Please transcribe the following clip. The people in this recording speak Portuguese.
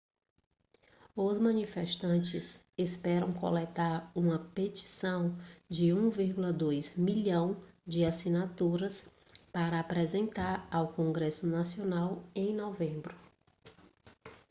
os manifestantes esperam coletar uma petição de 1,2 milhão de assinaturas para apresentar ao congresso nacional em novembro